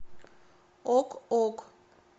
ок ок